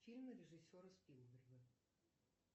фильмы режиссера спилберга